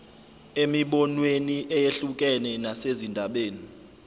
emibonweni eyehlukene nasezindabeni